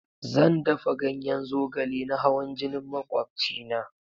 Zan dafa ganyen zogale na hawan jinin makwachina.